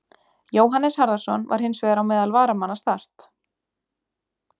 Jóhannes Harðarson var hins vegar á meðal varamanna Start.